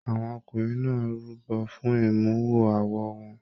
Àwọn ọkùnrin náà rúbọ fún imuwọ̀ awo wọn.